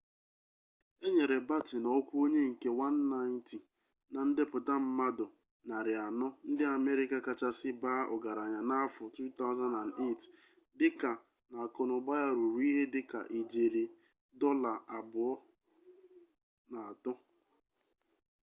e nyere batten ọkwa onye nke 190 na ndepụta mmadụ 400 ndị amerika kachasị baa ọgaranya n'afọ 2008 dịka na akụnaụba ya ruru ihe dịka ijeri $2.3